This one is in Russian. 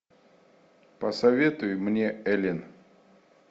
посоветуй мне элен